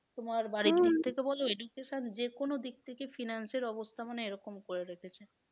তোমার দিক থেকে বলো education যে কোনো দিক থেকে finance এর অবস্থা মানে এরকম করে রেখেছে।